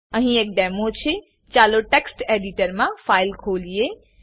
અહી એક ડેમો છેચાલો ટેક્સ્ટ એડિટરમા ફાઈલ ખોલીએ